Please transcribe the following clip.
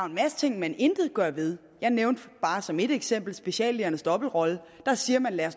en masse ting man intet gør ved jeg nævnte bare som ét eksempel speciallægernes dobbeltrolle der siger man at